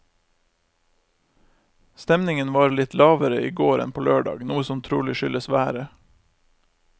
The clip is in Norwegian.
Stemningen var litt lavere i går enn på lørdag, noe som trolig skyldes været.